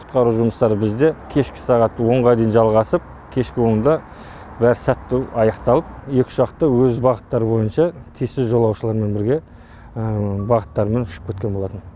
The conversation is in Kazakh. құтқару жұмыстары бізде кешкі сағат онға дейін жалғасып кешкі онда бәрі сәтті аяқталып екі ұшақ та өз бағыттары бойынша тиісті жолаушылармен бірге бағыттарымен ұшып кеткен болатын